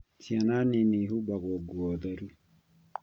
Ciana nini ihumbagwo nguo theru